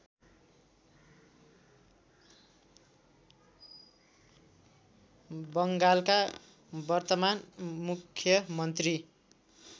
बङ्गालका वर्तमान मुख्यमन्त्री